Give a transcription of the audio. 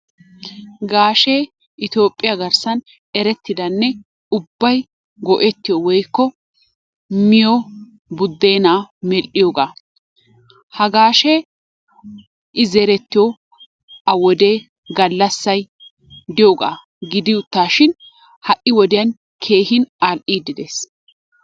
Gaashee Itoophiya garssan erettidanne ubbay go'ettiyo woykko miyo budeenaa, medhiyoogaa ha gaashee i zerettiyo a wodee galassay diyoogaa gidi uttaashin ha'i woddiyan keehi al'iidi de'ees..